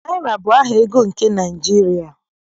Naịra bụ aha ego nke Naịjirịa